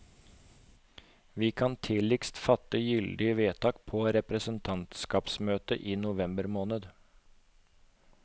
Vi kan tidligst fatte gyldig vedtak på representantskapsmøtet i november måned.